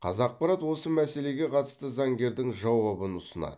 қазақпарат осы мәселеге қатысты заңгердің жауабын ұсынады